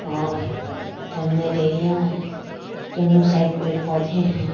और जंगल एरिया दोनों साइड पेड़ पौधे हैं।